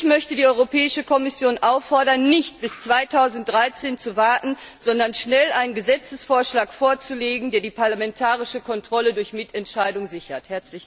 Ich möchte die Europäische Kommission auffordern, nicht bis 2013 zu warten, sondern schnell einen Gesetzesvorschlag vorzulegen, der die parlamentarische Kontrolle durch Mitentscheidung sichert.